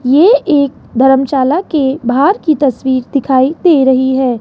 ये एक धर्मशाला के बाहर की तस्वीर दिखाई दे रही हैं।